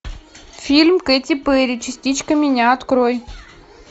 фильм кэти перри частичка меня открой